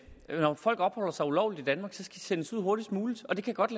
når folk opholder sig ulovligt i danmark skal de sendes ud hurtigst muligt og det kan godt